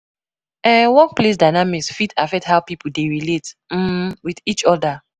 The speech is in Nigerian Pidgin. um Workplace dynamics fit affect how pipo dey relate um with each oda.